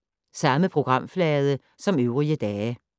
Samme programflade som øvrige dage